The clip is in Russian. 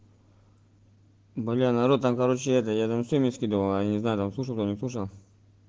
марьяна ро там короче это я думал ты мне скидывала я не знаю там слушать нюша